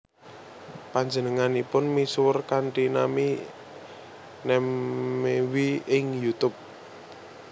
Panjenenganipun misuwur kanthi nami Namewee ing YouTube